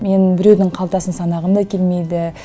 мен біреудің қалтасын санағым да келмейді